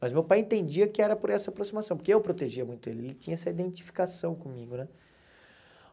Mas meu pai entendia que era por essa aproximação, porque eu protegia muito ele, ele tinha essa identificação comigo, né?